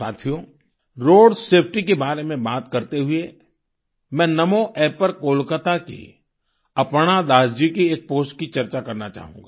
साथियो road safety के बारे में बात करते हुए मैं नामो App पर कोलकाता की अपर्णा दास जी की एक पोस्ट की चर्चा करना चाहूँगा